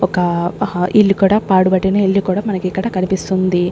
ఒక హ ఇల్లు కూడా పాడు పడిన ఇల్లు కూడా మనకిక్కడ కనిపిస్తుంది.